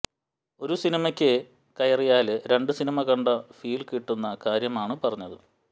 ഒരു സിനിമയ്ക്കു കയറിയാല് രണ്ടു സിനിമ കണ്ട ഫീല് കിട്ടുന്ന കാര്യമാണ് പറഞ്ഞത്